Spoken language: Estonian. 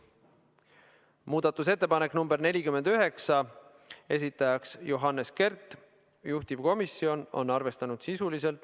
Muudatusettepanek nr 49, esitajaks on Johannes Kert, juhtivkomisjon on arvestanud seda sisuliselt .